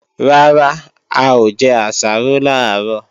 Rárá, a ò jẹ àsáró làárọ̀